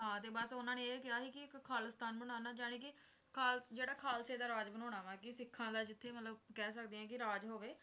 ਹਾਂ ਤੇ ਬਸ ਉਨ੍ਹਾਂ ਨੇ ਇਹ ਕਿਹਾ ਸੀ ਕਿ ਇੱਕ ਖਾਲਿਸਤਾਨ ਬਣਾਉਣਾ ਜਾਣੀ ਕਿ ਖਾਲ ਜਿਹੜਾ ਖਾਲਸੇ ਦਾ ਰਾਜ ਬਣਾਉਣਾ ਵਾ ਕਿ ਸਿੱਖਾਂ ਦਾ ਜਿੱਥੇ ਮਤਲਬ ਕਹਿ ਸਕਦੇ ਆ ਕੇ ਰਾਜ ਹੋਵੇ ਤੇ